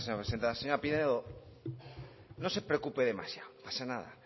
gracias señor presidenta señora pinedo no se preocupe demasiado no pasa nada